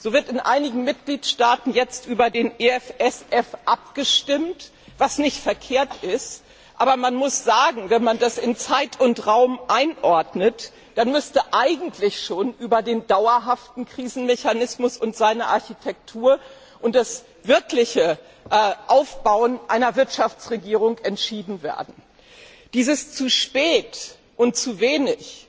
So wird in einigen Mitgliedstaaten jetzt über den EFSF abgestimmt was nicht verkehrt ist, aber man muss sagen, wenn man das in Zeit und Raum einordnet, dann müsste eigentlich schon über den dauerhaften Krisenmechanismus und seine Architektur und das wirkliche Aufbauen einer Wirtschaftsregierung entschieden werden. Dieses zu spät und zu wenig